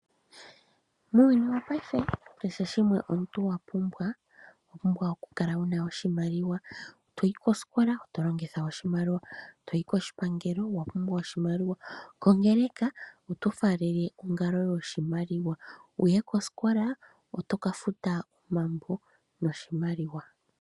Muuyuni wo paife kehe shimwe omuntu wa pumbwa ,owa pumbwa oku kala wu na oshimaliwa. Toyi kositola oto longitha oshimaliwa, toyi koshipangelo owa pumbwa oshimaliwa, kongeleka oto faalele ongalo yoshimaliwa. Wuye kosikola, oto ka futa omambo noshimaliwa.